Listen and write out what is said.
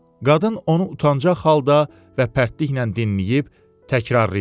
Qadın onu utancaq halda və pərtliklə dinləyib təkrarlayırdı.